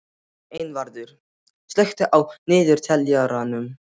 Einvarður, slökktu á niðurteljaranum.